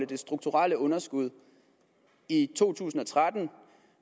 det strukturelle underskud i to tusind og tretten